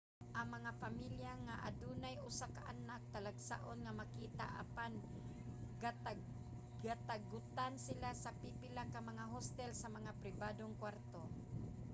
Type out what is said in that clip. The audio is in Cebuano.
ang mga pamilya nga adunay usa ka anak talagsaon nga makita apan gatugutan sila sa pipila ka mga hostel sa mga pribadong kwarto